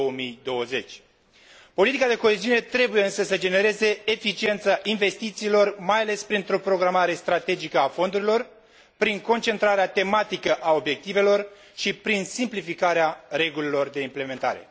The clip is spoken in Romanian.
2020. Politica de coeziune trebuie, însă, să genereze eficiența investițiilor mai ales printr o programare strategică a fondurilor, prin concentrarea tematică a obiectivelor și prin simplificarea regulilor de implementare.